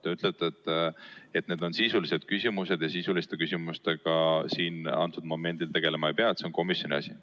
Te ütlete, et need on sisulised küsimused ja sisuliste küsimustega momendil tegelema ei pea, see on komisjoni asi.